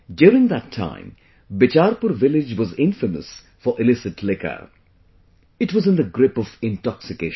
During that time, Bicharpur village was infamous for illicit liquor,... it was in the grip of intoxication